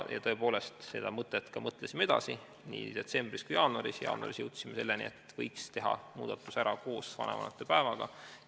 Tõepoolest, seda mõtet me mõtlesime edasi nii detsembris kui ka jaanuaris ja jaanuaris jõudsime selleni, et võiks teha muudatuse ära koos vanavanemate päeva muudatusega.